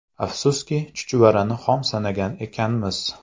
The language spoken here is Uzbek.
Afsuski, ‘chuchvarani xom sanagan ekanmiz’.